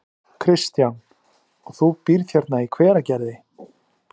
Kristján: Og þú býrð hérna í Hveragerði?